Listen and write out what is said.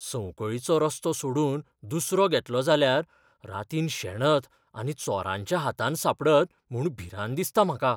संवकळीचो रस्तो सोडून दुसरो घेतलो जाल्यार रातीन शेणत आनी चोरांच्या हातांत सापडत म्हूण भिरांत दिसता म्हाका.